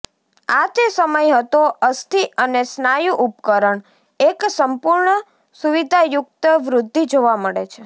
આ તે સમય હતો અસ્થિ અને સ્નાયુ ઉપકરણ એક સંપૂર્ણ સુવિધાયુક્ત વૃદ્ધિ જોવા મળે છે